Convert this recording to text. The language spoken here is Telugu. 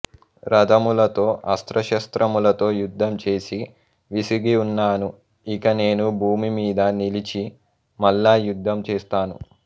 రథములతో అస్త్రశస్త్రములతో యుద్ధం చేసి విసిగి ఉన్నాను ఇక నేను భూమి మీద నిలిచి మల్ల యుద్ధం చేస్తాను